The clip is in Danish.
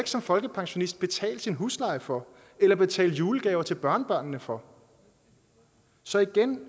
som folkepensionist betale sin husleje for eller betale julegaver til børnebørnene for så igen